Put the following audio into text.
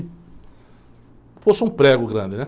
Como se fosse um prego grande, né?